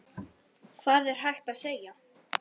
Hvað er hægt að segja?